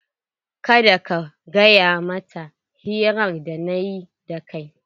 Kada ka gaya mata hirar da nayi da ke!